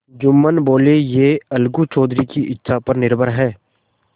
जुम्मन बोलेयह अलगू चौधरी की इच्छा पर निर्भर है